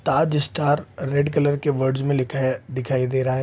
ताज star red colour words मे लिखे है दिखाई दे रहा है।